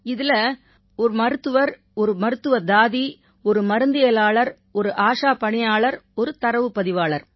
இதில மருத்துவர் ஒரு மருத்துவத்தாதி ஒரு மருந்தியலாளர் ஒரு ஆஷா பணியாளர் ஒரு தரவுப் பதிவாளர்